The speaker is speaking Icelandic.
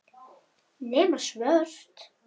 Nema svört.